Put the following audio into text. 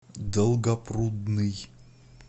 долгопрудный